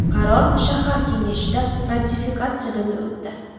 Qaror shahar kengashida ratifikatsiyadan o‘tdi.